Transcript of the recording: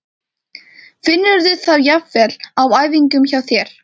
Finnurðu það jafnvel á æfingum hjá þér?